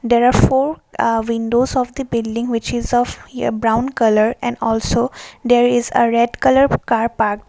there are four windows of the building which is of brown colour and also there is a red colour car park.